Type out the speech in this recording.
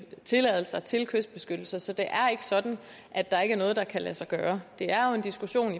tilladelser til kystbeskyttelse så det er ikke sådan at der ikke er noget der kan lade sig gøre det er jo en diskussion